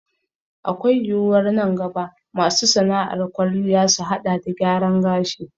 Akwai yiwuwar nan gaba masu sana'ar kwalliya su haɗa da gyaran gashi